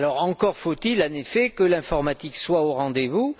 Encore faut il, en effet, que l'informatique soit au rendez vous.